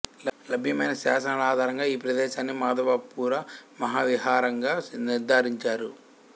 లభ్యమైన శాసనాల ఆధారంగా ఈ ప్రదేశాన్ని మాధవపుర మహావిహారంగా నిర్ధారించారు